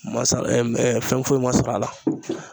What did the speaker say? Ma se fɛn foyi ma sɔrɔ a la